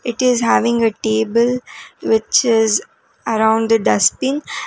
It is having a table which is around the dustbin.